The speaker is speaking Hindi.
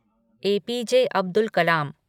A P J Abdul Kalam